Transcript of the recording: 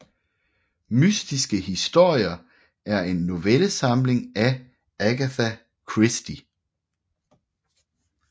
Mystiske historier er en novellesamling af Agatha Christie